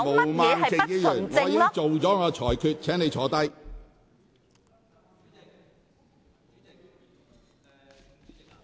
毛孟靜議員，我已作出裁決，請坐下。